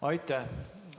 Aitäh!